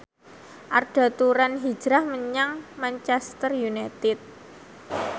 Arda Turan hijrah menyang Manchester united